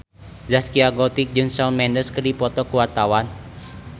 Zaskia Gotik jeung Shawn Mendes keur dipoto ku wartawan